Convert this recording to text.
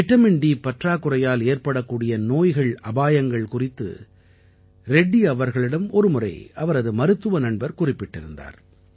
vitamin D பற்றாக்குறையால் ஏற்படக்கூடிய நோய்கள்அபாயங்கள் குறித்து ரெட்டி அவர்களிடம் ஒருமுறை அவரது மருத்துவ நண்பர் குறிப்பிட்டிருந்தார்